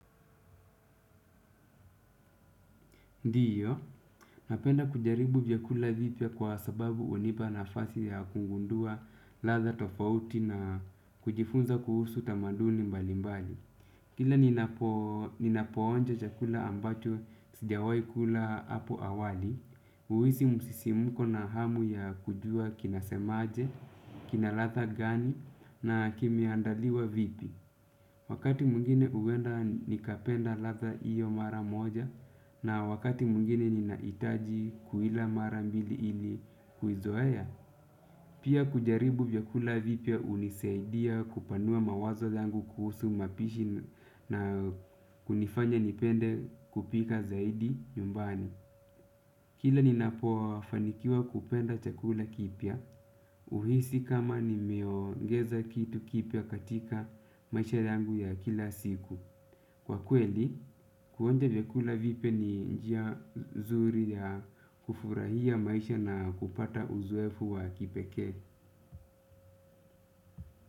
Ndiyo, napenda kujaribu vyakula vipya kwa sababu hunipa nafasi ya kugundua ladha tofauti na kujifunza kuhusu tamaduni mbalimbali. Kila ninapoonja chakula ambacho sijawahi kula hapo awali, huhisi musisimuko na hamu ya kujua kinasemaje, kina ladha gani na kimeandaliwa vipi. Wakati mwingine huenda nikapenda ladha hiyo mara moja na wakati mwingine ninahitaji kuila mara mbili ili kuizoae. Pia kujaribu vyakula vipya hunisaidia kupanua mawazo yangu kuhusu mapishi na kunifanya nipende kupika zaidi yumbani. Kila ninapo fanikiwa kupenda chakula kipya huhisi kama nimeongeza kitu kipya katika maisha yangu ya kila siku. Kwa kweli, kuonja vyakula vipya ni njia zuri ya kufurahia maisha na kupata uzoefu wa kipekee.